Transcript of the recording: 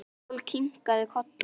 Jói kinkaði kolli.